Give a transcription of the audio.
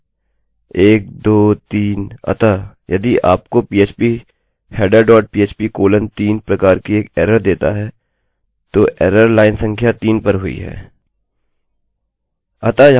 1 2 3 अतः यदि यह आपको phpheader dot php colon 3 प्रकार की एक एररerror देता है तो एररerror लाइन संख्या 3 पर हुई है